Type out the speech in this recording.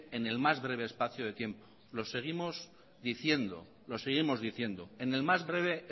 en el más breve espacio de tiempo lo seguimos diciendo en el más breve